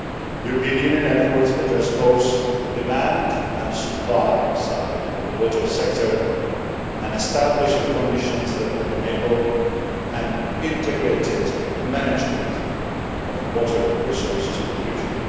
European Union efforts address both the demand and supply side of the water sector and establish the conditions that will enable an integrated management of water resources in the future.